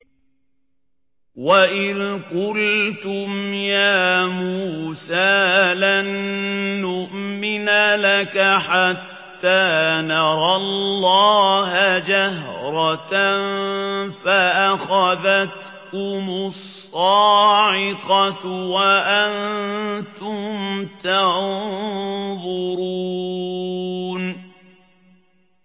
وَإِذْ قُلْتُمْ يَا مُوسَىٰ لَن نُّؤْمِنَ لَكَ حَتَّىٰ نَرَى اللَّهَ جَهْرَةً فَأَخَذَتْكُمُ الصَّاعِقَةُ وَأَنتُمْ تَنظُرُونَ